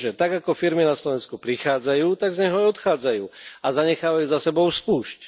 Lenže tak, ako firmy na Slovensko prichádzajú, tak z neho aj odchádzajú a zanechávajú za sebou spúšť.